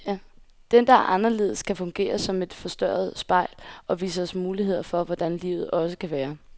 Den, der er anderledes, kan fungere som et forstørrende spejl, og vise os muligheder for hvordan livet også kan være.